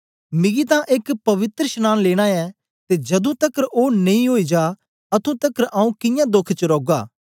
मिगी तां एक पवित्रशनांन लेना ऐ ते जदूं तकर ओ नेई ओई जा अतुं तकर आऊँ कियां दोख च रौगा